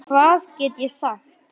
Hvað get ég sagt.